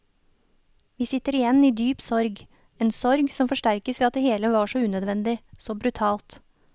Vi sitter igjen i dyp sorg, en sorg som forsterkes ved at det hele var så unødvendig, så brutalt.